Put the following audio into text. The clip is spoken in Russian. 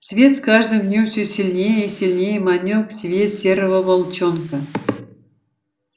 свет с каждым днём все сильнее и сильнее манил к себе серого волчонка